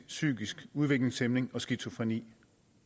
psykisk udviklingshæmning og skizofreni